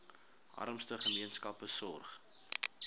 armste gemeenskappe sorg